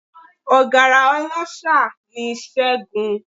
Ọ̀gárá ọláṣa ni Ṣẹ́gun